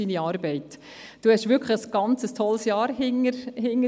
Sie haben wirklich zusammen mit uns ein ganz tolles Jahr hinter sich.